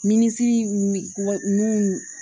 Minisiri min